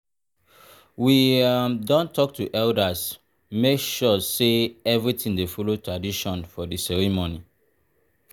we um don talk to elders make sure um say everything dey follow tradition for di ceremony.